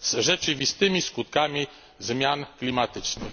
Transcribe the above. z rzeczywistymi skutkami zmian klimatycznych.